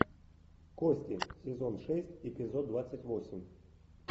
кости сезон шесть эпизод двадцать восемь